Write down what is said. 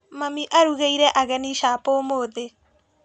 Mami arugĩire ageni capo ũmũthĩ.